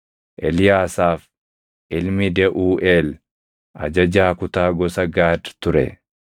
Eliyaasaaf ilmi Deʼuuʼeel ajajaa kutaa gosa Gaad ture.